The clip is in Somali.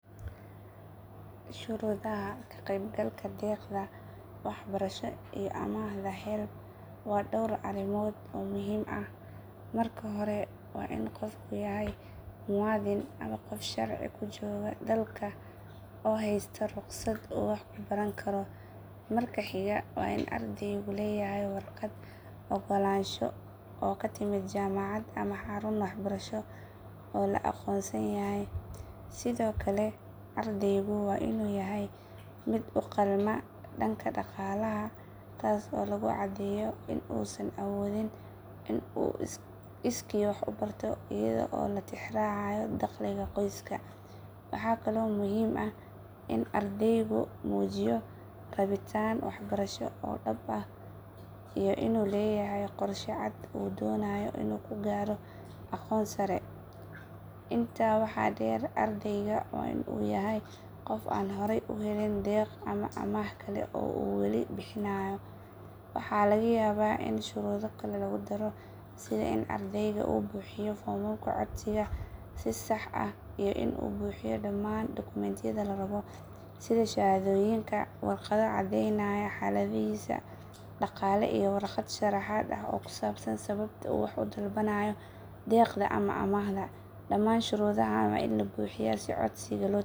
Haddii aan dooran lahaa nooca digaagga aan ganacsi ku yeelan lahaa, waxaan dooran lahaa nooca broiler, sababahan awgood: Digaagga broiler si degdeg ah ayay u koraan, taasoo ka dhigaysa in hilibkooda la iibiyo muddo gaaban gudaheed. Tani waxay keenaysaa in dhaqaalaha laga helo ganacsiga uu noqdo mid degdeg ah oo soo noqnoqda. Digaagga broiler waxay leeyihiin koritaan degdeg ah iyo culeys sare muddo gaaban gudaheed, taasoo ganacsiga ka dhigaysa mid faa’iido badan marka la barbar dhigo noocyada kale ee digaagga. Dhinaca kale, digaagga kenyejiga waa nooc dhaqameed oo badanaa loo isticmaalo ukunta, balse koritaankoodu waa gaabis marka loo eego broiler-ka. Tani waxay ganacsiga hilibka ka dhigaysaa mid waqti dheer qaata haddii lagu shaqeynayo digaagga kenyejiga. Haddii ganacsiga uu yahay mid ku saleysan hilibka digaagga oo degdeg u wareega, broiler-ka ayaa ah nooca ugu habboon. Haddii ujeedadu tahay helista ukun tiro badan, kenyejiga ayaa noqon kara doorasho wanaagsan. Laakiin guud ahaan, marka la fiiriyo dhinaca faa’iidada dhaqaalaha iyo wareegga degdegga ah, broiler-ka ayaa ah doorashada ugu wanaagsan.